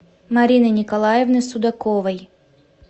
марины николаевны судаковой